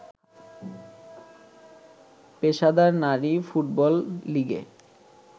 পেশাদার নারী ফুটবল লিগে